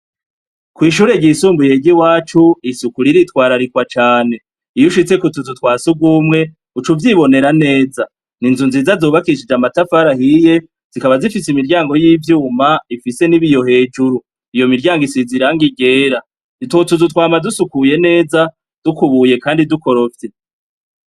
Kw'ishure ryisumbuye ry'iwacu isuku riritwararikwa cane. Iyo ushitsi ku tuzu twa sugumwe uca uvyibonera neza. Ni inzu nziza zubakishije amafari ahiye, zikaba zifise imiryango y'ivyuma ifise n'ibiyo hejuru. Iyo miryango isize irangi ryera. Utwo tuzu twama dusukuye neza, dukubuye kandi dukorofye.